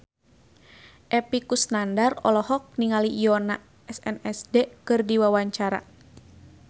Epy Kusnandar olohok ningali Yoona SNSD keur diwawancara